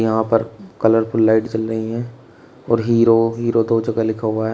यहां पर colourful lights जल रही है और हीरो हीरो दो जगह लिखा हुआ है।